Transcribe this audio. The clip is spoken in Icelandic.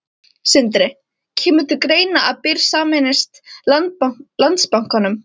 Sindri: Kemur til greina að Byr sameinist Landsbankanum?